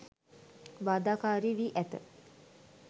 බාධාකාරී වී ඇත